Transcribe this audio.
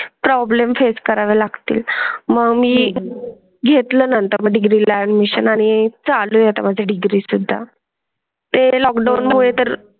Problem face करावे लागतील. Ma'am मी घेतला नंतर पुढील ऍडमिशन आणि चालू आहे म्हणजे डिग्री सुद्धा ते लॉकडाऊन होईल तर?